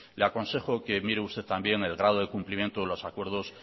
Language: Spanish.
le aconsejo que mire usted también el grado de cumplimiento de los acuerdos